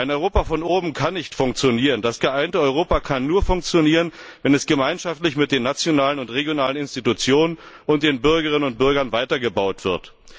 Ein Europa von oben kann nicht funktionieren. Das geeinte Europa kann nur funktionieren, wenn es gemeinschaftlich mit den nationalen und regionalen Institutionen und den Bürgerinnen und Bürgern weiter gebaut wird.